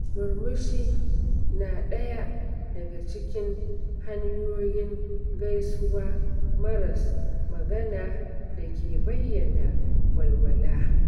Murmushi na ɗaya daga cikin hanyoyin gaisuwa maras magana da ke bayyana walwala.